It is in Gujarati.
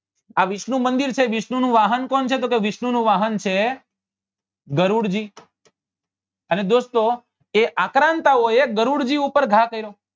આ વિષ્ણુ મંદિર છે વિષ્ણુ નું વાહન કોણ છે તો કે વિષ્ણુ વાહન છે ગરુડજી અને દોસ્તો એ આક્રાન્તા ઓ એ ગરુડ જી ઉપર ઘા કર્યો